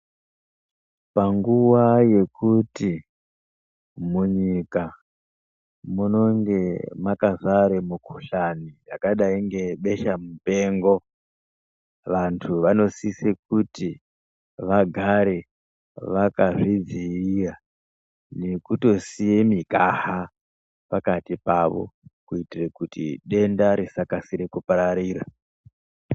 Panguva yekuti mu nyika munonge makazare mukuhlani yakadai nge besha mupengo vantu vano sise kuti vagare vakazvi dzivirira nekuto siye mikaha pakati pavo kuitire kuti denda risa kasire kupararira.